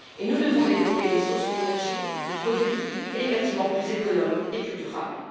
nous devons développer des sources d'énergie, des produits et des bâtiments plus économes et plus durables.